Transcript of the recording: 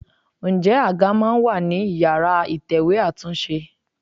Ǹjẹ́ àga máa ń wà ní ìyára ìtẹ̀wẹ́ àtúnṣe?